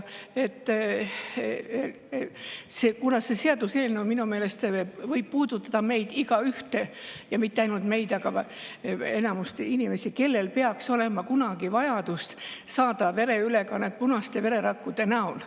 See seaduseelnõu võib minu meelest puudutada meid igaühte, ja mitte ainult meid, vaid enamikku inimesi, kellel on kunagi vajadus saada vereülekannet punaste vererakkude näol.